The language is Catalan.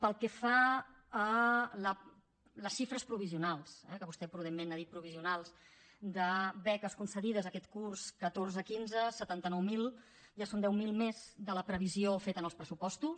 pel que fa a les xifres provisionals que vostè prudentment n’ha dit provisionals de beques concedides aquest curs catorze quinze setanta nou mil ja són deu mil més de la previsió feta en els pressupostos